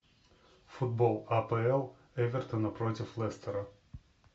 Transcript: футбол апл эвертона против лестера